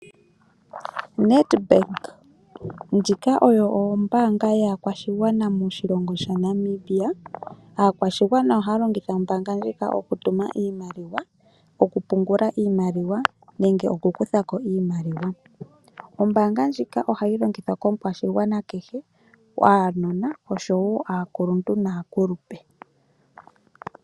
Nedbank ndjika oyo ombanga yakwashigwana moshilongo shaNamibia. Aakwashigwana oha longitha ombanga ndjika oku tuma iimaliwa, okupungula iimaliwa nenge okukuthako iimaliwa. Ombanga ndjika ohayi longithwa komu kwashigwana kehe, aanona oshowo aakuluntu naakulupe.